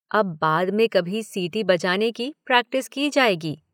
अब बाद में कभी सीटी बजाने की प्रैक्टिस की जाएगी।